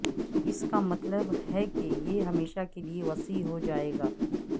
اس کا مطلب ہے کہ یہ ہمیشہ کے لئے وسیع ہو جائے گا